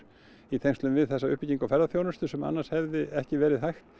í tengslum við þessa uppbyggingu ferðaþjónustu sem annars hefði ekki verið hægt